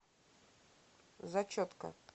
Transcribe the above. зачетка